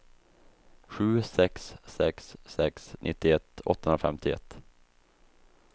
sju sex sex sex nittioett åttahundrafemtioett